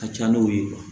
A ka ca n'o ye